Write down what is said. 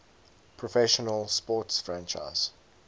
professional sports franchise